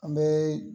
An bɛ